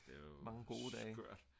mange gode dage